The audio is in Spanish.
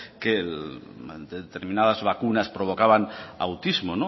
que determinadas vacunas provocaban autismo